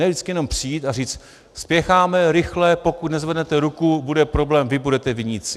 Ne vždycky jenom přijít a říct: Spěcháme, rychle, pokud nezvednete ruku, bude problém, vy budete viníci!